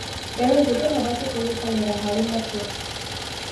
Mbeũ njĩthĩ mabatiĩ kũnyitanĩra harĩ matua.